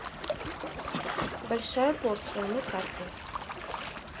большая порция на карте